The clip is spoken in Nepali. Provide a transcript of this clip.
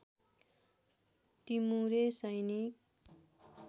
टिमुरे सैनिक